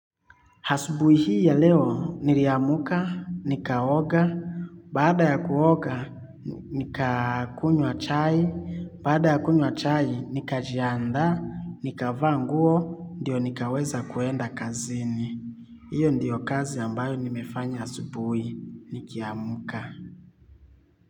Asubuhi hii ya leo, niliamka, nikaoga, baada ya kuoga, nika kunywa chai, baada ya kunywa chai, nikajiandaa, nikavaa nguo, ndio nikaweza kwenda kazeni. Hiyo ndio kazi ambayo nimefanya asubuhi, nikiamka.